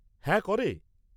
হ্যাঁ, করে।